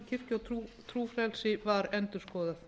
kirkju og trúfrelsi var endurskoðuð